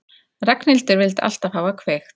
Ragnhildur vildi alltaf hafa kveikt.